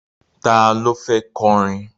Ta ló fẹ́ kọrin?